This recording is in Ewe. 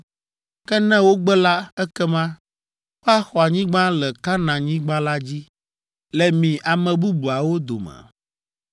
Ke ne wogbe la, ekema woaxɔ anyigba le Kanaanyigba la dzi, le mi ame bubuawo dome.”